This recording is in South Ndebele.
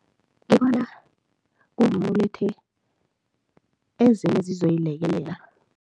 Ngibona kungcono ulethe ezinye ezizoyilekelela.